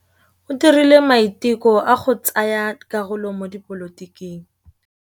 O dirile maitekô a go tsaya karolo mo dipolotiking.